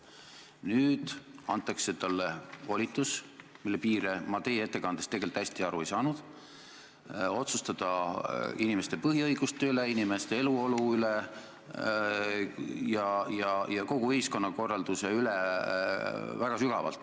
Nüüd antakse talle volitus, mille piiridest ma teie ettekande põhjal tegelikult hästi aru ei saanud, otsustada inimeste põhiõiguste, eluolu ja kogu ühiskonnakorralduse üle.